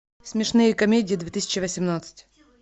смешные комедии две тысячи восемнадцать